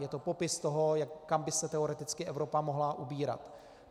Je to popis toho, kam by se teoreticky Evropa mohla ubírat.